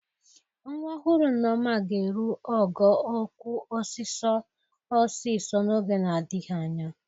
Nwa ọhụrụ Nneọma ga-eru ogo okwu ọsịsọ ọsịsọ n'oge na-adịghị anya.